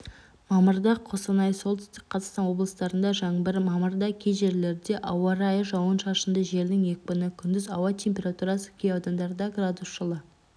мамырда қостанай солтүстік қазақстан облыстарында жаңбыр мамырда кей жерлерде ауа райы жауын-шашынды желдің екпіні күндіз ауа температурасы кей аудандарда градус жылы